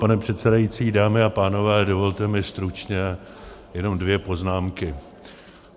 Pane předsedající, dámy a pánové, dovolte mi stručně jenom dvě poznámky.